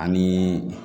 Ani